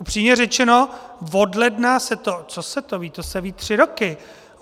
Upřímně řečeno, od ledna se to, co se to ví, to se ví tři roky.